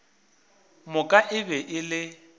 moka e be e le